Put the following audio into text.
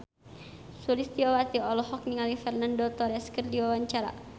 Sulistyowati olohok ningali Fernando Torres keur diwawancara